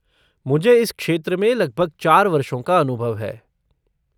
मुझे इस क्षेत्र में लगभग चार वर्षों का अनुभव है।